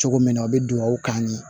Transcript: Cogo min na o be duwawu kan ye